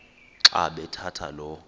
xa bathetha lo